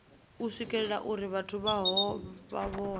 u swikelelwa uri vhathu vhohe